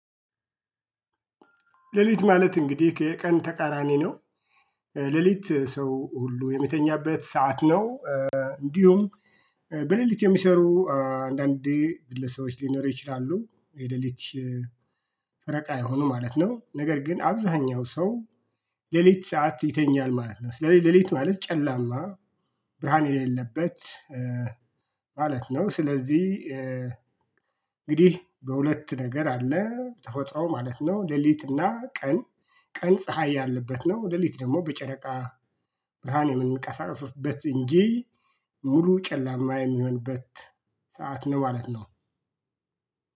ሌሊት ማለት እንግዲህ የቀን ተቃራኒ ነው። ሌሊት ሰው ሁሉ የሚተኛበት ሰዓት ነው። እንዲሁም በሌሊት የሚሰሩ አንዳንዴ ግለሰቦች ሊኖሩ ይችላሉ የለሊት ፈረቃ ይሆኑ ማለት ነው። ነገር ግን አብዛኛው ሰው ለሊት ሰዓት ይተኛል ማለት ነው። ስለዚህ ለሊት ማለት ጨላማ ብርሃን የሌለበት ማለት ነው። ስለዚህ እንግዲህ በሁለት ነገር አለ ተፈጥሮ ማለት ነው። ለሊት እና ቀን ቀን ፀሀይ ያለበት ነው። ለሊት ደግሞ በጨረቃ ብርሃን የምንቀሳቀስበት እንጂ ሙሉ ጨላማ የሚሆንበት ሰዓት ነው ማለት ነው